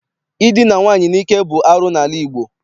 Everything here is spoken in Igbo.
Idina nwaanyị n'ike bụ arụ n'ala Igbo.